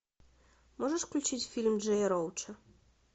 можешь включить фильм джея роуча